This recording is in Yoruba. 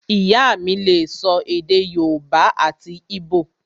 Ìyá mí lè sọ èdè yóòbá àti íbò